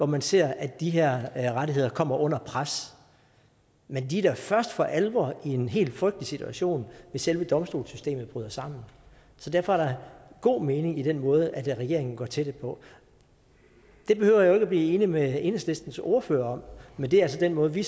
man ser at de her her rettigheder kommer under pres men de er da først for alvor i en helt frygtelig situation hvis selve domstolssystemet bryder sammen så derfor er der god mening i den måde regeringen går til det på det behøver jeg jo ikke at blive enig med enhedslistens ordfører om men det er altså den måde vi